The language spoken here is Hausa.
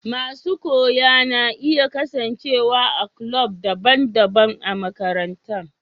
Masun koya na iya kasance a'kulob dabban dabban a'makarantan.